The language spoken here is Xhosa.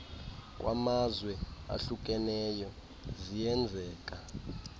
kwamazwe ahlukeneyo ziyenzeka